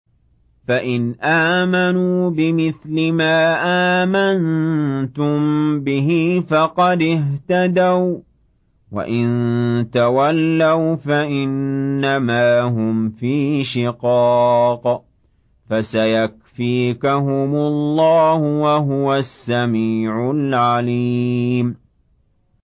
فَإِنْ آمَنُوا بِمِثْلِ مَا آمَنتُم بِهِ فَقَدِ اهْتَدَوا ۖ وَّإِن تَوَلَّوْا فَإِنَّمَا هُمْ فِي شِقَاقٍ ۖ فَسَيَكْفِيكَهُمُ اللَّهُ ۚ وَهُوَ السَّمِيعُ الْعَلِيمُ